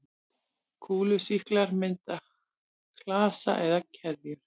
Kúlusýklar mynda klasa eða keðjur.